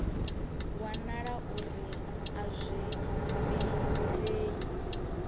wanala uri a zwi vhilei